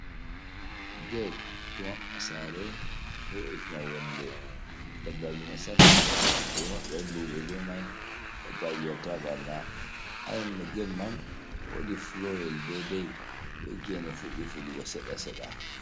Gate ɗo mabɓa sare ɗo bo'itina nyonde dabbaji nastata, ɓe ɗo maɓɓira luɓe be mai dabbaji watta ɓarna, ha nyonde gate wodi flooryel daidai gene fuɗɗi fuɗugo seɗɗa seɗɗa.